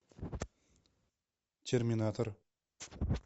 терминатор